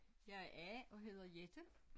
Jeg er A og hedder Jette